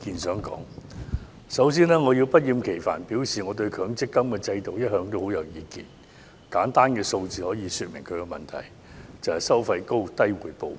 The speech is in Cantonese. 首先，我要不厭其煩地表示我對強制性公積金制度一向很有意見，簡單數個字已可說明其問題，就是"收費高、回報低"。